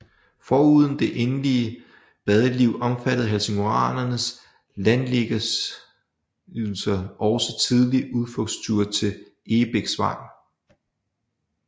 Foruden det egentlige badeliv omfattede helsingoranernes landliggersysler også tidligt udflugtsture til Egebæksvang